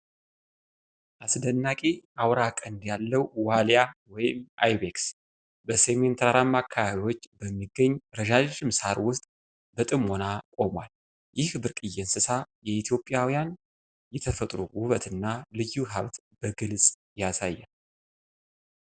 አስደናቂ አውራ ቀንድ ያለው ዋልያ (አይቤክስ) በሰሜን ተራራማ አካባቢዎች በሚገኝ ረዣዥም ሳር ውስጥ በጥሞና ቆሟል። ይህ ብርቅዬ እንስሳ የኢትዮጵያን የተፈጥሮ ውበትና ልዩ ሀብት በግልጽ ያሳያል።